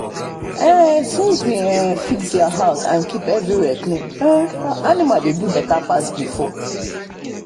when we match their food with how dem dey grow the breed change begin work well.